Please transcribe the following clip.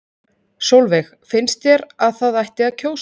Sólveig: Finnst þér að það ætti að kjósa?